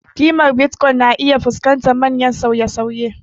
Ƙimar Bitcoin na iya fuskantar manyan sauye-sauye.